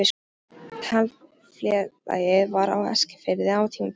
Taflfélag var á Eskifirði á tímabili.